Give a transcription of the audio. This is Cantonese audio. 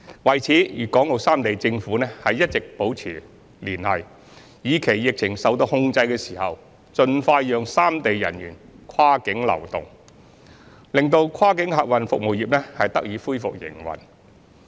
為此，粵港澳三地政府一直保持聯繫，以期疫情受到控制時，盡快讓三地人員跨境流動，使跨境客運服務業得以恢復營運。